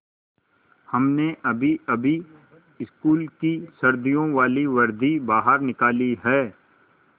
हमने अभीअभी स्कूल की सर्दियों वाली वर्दी बाहर निकाली है